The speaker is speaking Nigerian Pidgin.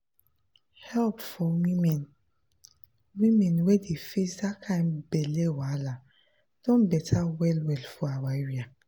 help for women women wey dey face that kind belle wahala don better well well for our area